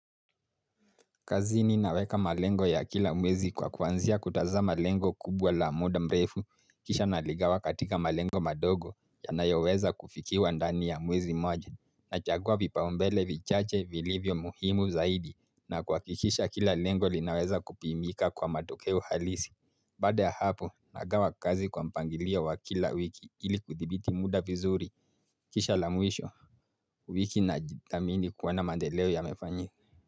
Kazini naweka malengo ya kila mwezi kwa kwanzia kutaza malengo kubwa la muda mrefu kisha naligawa katika malengo madogo ya nayoweza kufikiwa ndani ya mwezi moja na chagua vipa umbele vichache vilivyo muhimu zaidi na kuhakikisha kila lengo linaweza kupimika kwa matokeo halisi Baada ya hapo nagawa kazi kwa mpangilia wa kila wiki ili kudhibiti muda vizuri kisha la mwisho wiki na jithamini kuona mandeleo ya mefanyi.